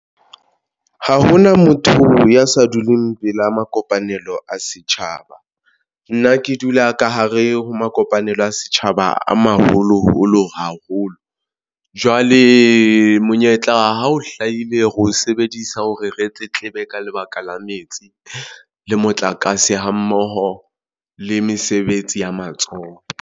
Ha hona motho ya sa duleng pela mo kopanelo a setjhaba, nna ke dula ka hare ho mo kopanelo a setjhaba a maholoholo haholo. Jwale monyetla ha o hlahile re o sebedisa hore re tletlebe ka lebaka la metsi le motlakase ha mmoho le mesebetsi ya matsoho.